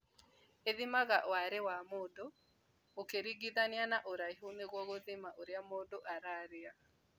Ĩthimaga wariĩ wa mũndũ ũkĩringithania na ũraihu nĩguo gũthima ũrĩa mũndũ ararĩa